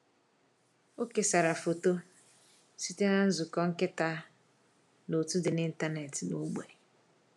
Ọ kesara foto site na nzukọ nkịta n’òtù dị n’ịntanetị n’ógbè.